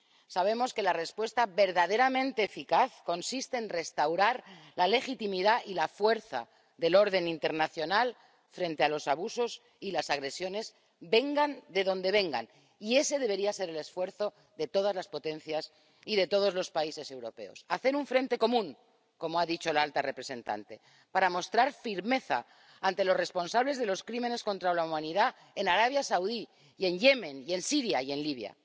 Sabemos que la respuesta verdaderamente eficaz consiste en restaurar la legitimidad y la fuerza del orden internacional frente a los abusos y las agresiones, vengan de donde vengan, y ese debería ser el esfuerzo de todas las potencias y de todos los países europeos hacer un frente común —como ha dicho la alta representante— para mostrar firmeza ante los responsables de los crímenes contra la humanidad en Arabia Saudí, y en Yemen y en Siria y en Libia.